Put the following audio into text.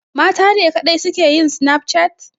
Matane kaɗai suke yin Snapchat?